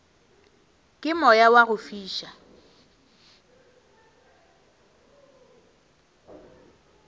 ke moya wa go fiša